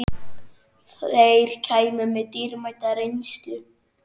Þeir kæmu með dýrmæta reynslu